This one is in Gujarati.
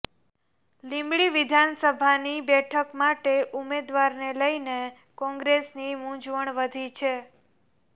લીંબડી વિધાનસભાની બેઠક માટે ઉમેદવારને લઇને કોંગ્રેસની મુંઝવણ વધી છે